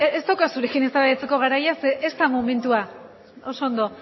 ez da zurekin eztabaidatzeko garaia ze ez da momentua oso ondo